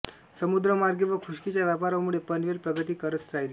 समुद्रमार्गे व खुष्कीच्या व्यापारामुळे पनवेल प्रगती करत राहिले